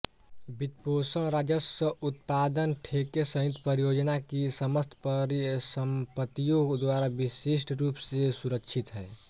वित्तपोषण राजस्व उत्पादन ठेके सहित परियोजना की समस्त परिसम्पत्तियों द्वारा विशिष्ट रूप से सुरक्षित है